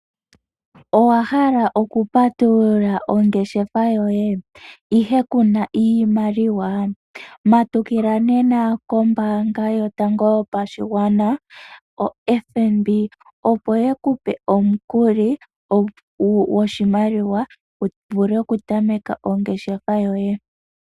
Owa hala okupatulula ongeshefa yoye ihe ku na iimaliwa? Matukila nena kombaanga yotango yopashigwana, ano FNB opo ye ku pe omukuli wu vule okutameka ongeshefa yoye.